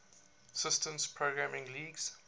systems programming languages